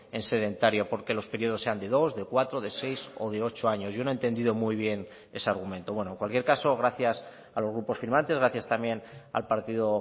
en sedentario porque los periodos sean de dos de cuatro de seis o de ocho años yo no he entendido muy bien ese argumento bueno en cualquier caso gracias a los grupos firmantes gracias también al partido